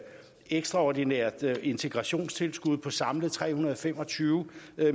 ekstraordinært integrationstilskud på samlet tre hundrede og fem og tyve